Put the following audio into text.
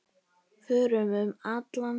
Förum um allan sjó.